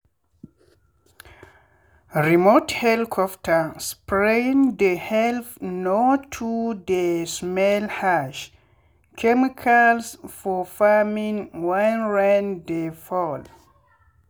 remote helicopter spraying dey help me no too dey smell harsh chemicals for farming when rain dey fall.